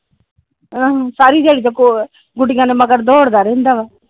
ਆਹੋ ਸਾਰੀ ਦਿਹਾੜੀ ਤੇ ਗੁਡੀਆਂ ਦੇ ਮਗਰ ਦੌੜ ਦਾ ਰਹਿੰਦਾ ਆ।